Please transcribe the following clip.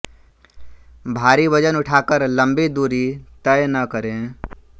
भारी वजन उठाकर लंबी दूर तय न करें